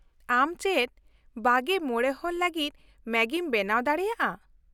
ᱟᱢ ᱪᱮᱫ ᱒᱕ ᱦᱚᱲ ᱞᱟᱹᱜᱤᱫ ᱢᱮᱜᱤᱢ ᱵᱮᱱᱟᱣ ᱫᱟᱲᱮᱭᱟᱜᱼᱟ ?